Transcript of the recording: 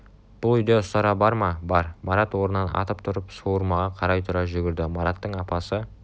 бұл үйде ұстара бар ма бар марат орнынан атып тұрып суырмаға қарай тұра жүгірді мараттың апасы